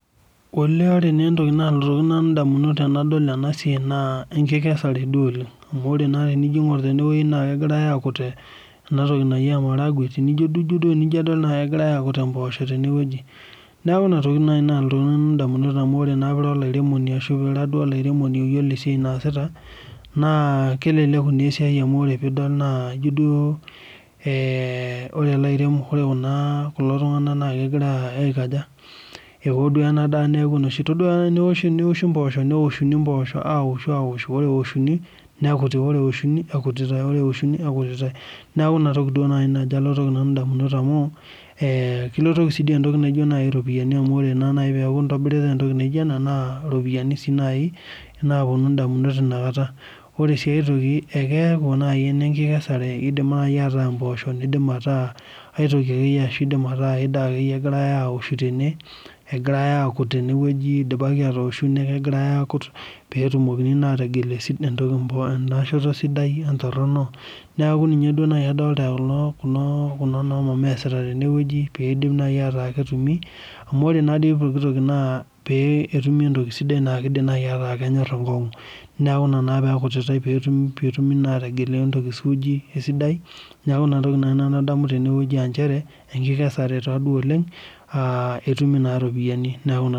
Olee ore naa entoki naalotoki nanu indamunot tenadol ena siai naa enkikesare duo oleng. Amu ore naa tenijo airung' tene naa kegirai akut ena toki naji emaragwe, tenijo duo, ijo duo akegirai akut mboosho tenewueji. Neeku ina toki naai nalotoki nanu indamunot amu ore naa piira olairemoni ashu piira duo olairemoni oyiolo esiai naasita naa keleleku naa esia amu ore piidol naa ijo duo ore ilairemok, kulo tung'anak naa kegira aiko aja, ewo duo ena daa niaku enoshi, itodwa teneouku mbooshu neoshunu mboosho aoshu, aoshu, aoshu, ore eoshuni nikuti, ore eoshuni ekutitae, ore eoshuni ekutitae. Neeku inatoki duo naajo alotoki nanu indamunot amu kilotoki sii duo naai entoki naaijo iropiyiani amu ore naa naai peeku intobirita entoki naijo ena naa irpoyiani sii naai naapwonu indamunot inakata. Ore sii ae toki akeeku naai enkikesare, eidim naai ataa mboosho neidim ataa aitoki akeyie ashu ai daa akeyie egirai aoshu tene, egirai aakut tenewueji idipaki atooshu neeku ekegirai aakut peetumokini naa ategel enda shoto sidai wentorrono. Neeku ninye duo naai adolita kulo, kuna noomama eesita tenewueji piidim naai ataa ketumi amu ore nadii pooki toki naa peetumi entoki sidai naa kiidim naai ataa kenyorr enkong'u. Neeku ina naa peekutitae peetumi naa, peetumi ategelu entoki suuji we sidai. Neeku ina toki naai nanu adamu tenewueji aa nchere, enkikesare taaduo oleng aa etumi naa iropiyiani neeku ina